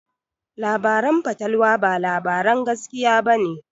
Labaran fatalwa ba labaran gaskiya ba ne.